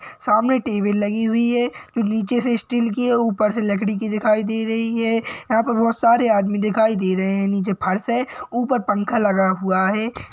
सामने टेबल लगी हुई है नीचे से स्टील की है ऊपर से लकड़ी की दिखाई दे रही है यहाँ पर बहुत सारे आदमी दिखाई दे रहे हैं नीचे फर्श है ऊपर पंखा लगा हुआ है।